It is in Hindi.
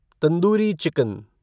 तंदूरी चिकन